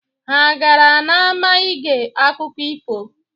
Ha agara n'ama ige akụkọ ifo?